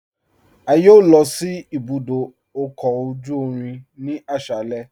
A yọ̀ọ̀ lọ sí ibùdó ọkọ ojú irin ni aṣálẹ̀